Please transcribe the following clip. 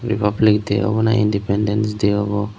repabilik day awbow nahi indipendancday awbow.